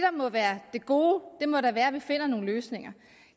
må være det gode må da være at vi finder nogle løsninger